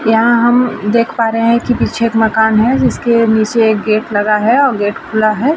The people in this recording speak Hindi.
यहाँ हम देख पा रहे हैं की पीछे एक मकान है। जिसके नीचे एक गेट लगा है और गेट खुला है।